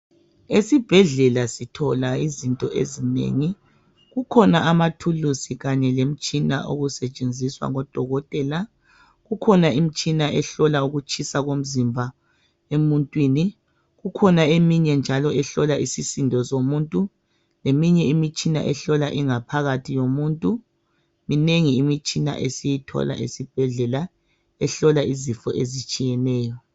Esibhedlela sithola izinto ezinengi. Kukhona amathuluzi kanye lemitshina okusetshenziswa ngodokotela. Kukhona imitshina ehlola ukutshisa komzimba emuntwini kukhona eminye njalo ehlola isisindo somuntu leminye imitshina ehlola ingaphakathi yomuntu. Iminengi imitshina esiyithola esibhedlela ehlola izifo ezitshiyeneyo.